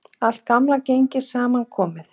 Allt gamla gengið saman komið